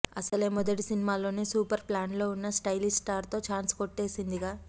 అసలే మొదటి సినిమాలోనే సూపర్ ఫామ్లో వున్న స్టయిలిష్ స్టార్తో ఛాన్స్ కొట్టేసిందిగా